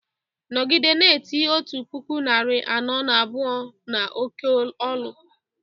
nọgide na-eti otu puku narị anọ na abụọ n’oké olu!